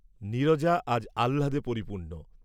নীরজা আজ আহ্লাদে পরিপূর্ণ।